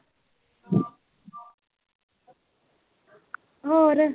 ਹੋਰ।